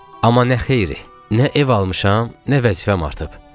Amma nə xeyiri, nə ev almışam, nə vəzifəm artıb.